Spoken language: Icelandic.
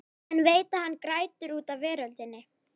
En veit að hann grætur út af veröldinni.